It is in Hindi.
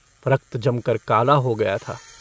रक्त जमकर काला हो गया था।